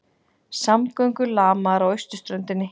Samgöngur lamaðar á austurströndinni